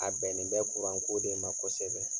A bɛnnen bɛ ko de ma kosɛbɛ.